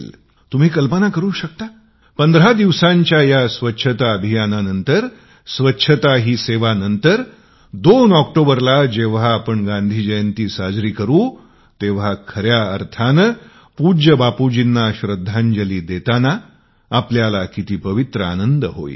तुम्ही कल्पना करू शकता 15 दिवसाच्या या स्वच्छता अभियानंतर स्वच्छता ही सेवा नंतर 2 ऑक्टोबरला जेंव्हा गांधी जयंती साजरी करू तेंव्हा खऱ्या अर्थानी पूज्य बापूंना श्रद्धांजली देतानां आपल्याला सुखद आनंद होईल